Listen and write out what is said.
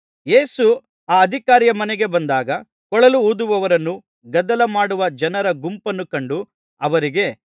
ಯೇಸು ಆ ಅಧಿಕಾರಿಯ ಮನೆಗೆ ಬಂದಾಗ ಕೊಳಲು ಊದುವವರನ್ನೂ ಗದ್ದಲ ಮಾಡುವ ಜನರ ಗುಂಪನ್ನೂ ಕಂಡು ಅವರಿಗೆ